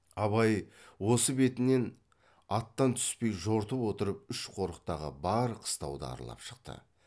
абай осы бетінен аттан түспей жортып отырып үш қорықтағы бар қыстауды аралап шықты